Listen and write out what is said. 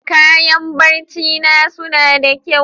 Kayan barcina suna da kyau.